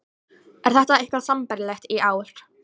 Er þetta eitthvað sambærilegt í ár?